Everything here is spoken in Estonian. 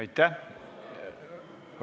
Aitäh!